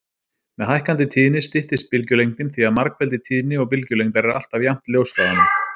Með hækkandi tíðni styttist bylgjulengdin því að margfeldi tíðni og bylgjulengdar er alltaf jafnt ljóshraðanum.